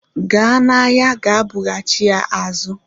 Gaa n'ahịa ga bughachi ya azu